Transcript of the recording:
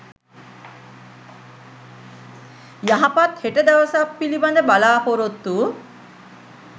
යහපත් හෙට දවසක් පිළිබඳ බලාපොරොත්තු